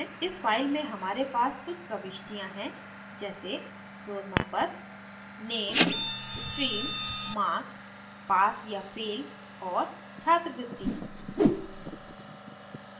इस file में हमारे pass कुछ प्रविष्टियाँ हैं जैसे roll number nem stream marks pass या fail और छात्रवृत्ति